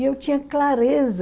E eu tinha clareza.